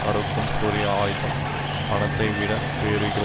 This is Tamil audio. அறுக்கும் கூரிய ஆயுதம் பணத்தைவிட வேறு இல்லை